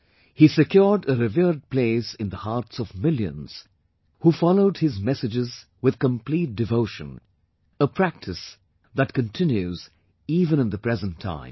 He secured a revered place in the hearts of millions who followed his messages with complete devotion, a practice that continues even in the present times